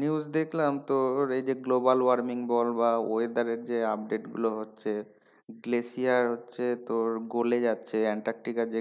News দেখলাম তোর এই যে global warming বল বা weather এর যে update গুলো হচ্ছে হচ্ছে তোর গলে যাচ্ছে আন্টার্টিকার যে